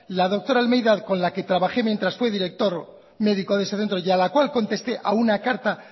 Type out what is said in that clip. la doctora almeida con la que trabajé mientras fui director médico de ese centro y a la cual contesté a una carta